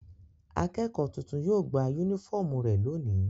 Akẹ́kọ̀ọ́ tuntun yóò gba únífọ́ọ́mù rẹ̀ lónìí.